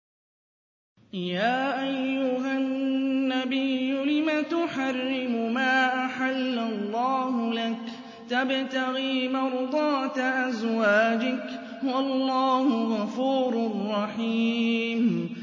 يَا أَيُّهَا النَّبِيُّ لِمَ تُحَرِّمُ مَا أَحَلَّ اللَّهُ لَكَ ۖ تَبْتَغِي مَرْضَاتَ أَزْوَاجِكَ ۚ وَاللَّهُ غَفُورٌ رَّحِيمٌ